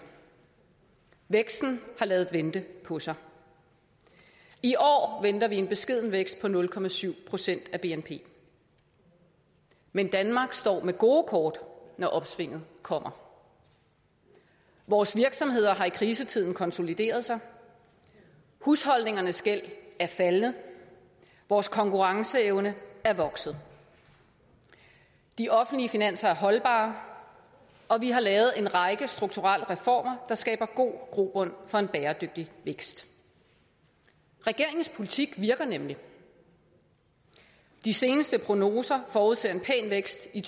væksten har ladet vente på sig i år venter vi en beskeden vækst på nul procent af bnp men danmark står med gode kort når opsvinget kommer vores virksomheder har i krisetiden konsolideret sig husholdningernes gæld er faldende vores konkurrenceevne er vokset de offentlige finanser er holdbare og vi har lavet en række strukturelle reformer der skaber god grobund for en bæredygtig vækst regeringens politik virker nemlig de seneste prognoser forudser en pæn vækst i